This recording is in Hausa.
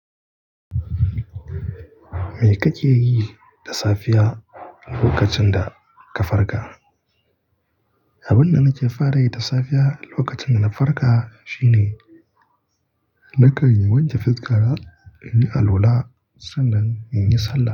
Me kake yi da safiya lokacin da ka farka? Abin da nake fara yi da safiya lokacin da na farka shine, na kan wanke fuskana, in yi alwala sannan in yi sallah.